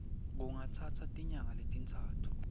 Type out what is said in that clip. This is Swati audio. kungatsatsa tinyanga letintsatfu